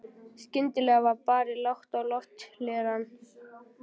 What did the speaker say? Skyndilega var barið lágt á lofthlerann.